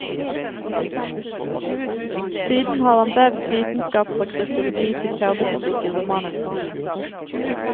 Siden har han vevd vitenskap fra kryptologi til kjernefysikk i romanene sine.